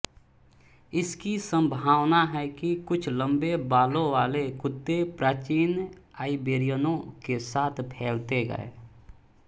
इसकी संभावना है कि कुछ लंबे बालों वाले कुत्ते प्राचीन आइबेरियनों के साथ फैलते गये